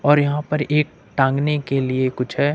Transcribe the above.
और यहां पर एक टांगने के लिए कुछ है।